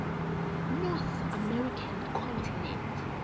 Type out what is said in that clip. north american continent